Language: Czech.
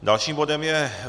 Dalším bodem je